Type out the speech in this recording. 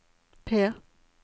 P